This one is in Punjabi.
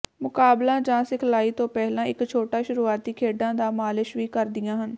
ਮੁਕਾਬਲਾ ਜਾਂ ਸਿਖਲਾਈ ਤੋਂ ਪਹਿਲਾਂ ਇੱਕ ਛੋਟਾ ਸ਼ੁਰੂਆਤੀ ਖੇਡਾਂ ਦਾ ਮਾਲਸ਼ ਵੀ ਕਰਦੀਆਂ ਹਨ